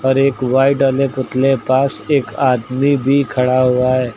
और एक वाइट वाले पुतले पास एक आदमी भी खड़ा हुआ है।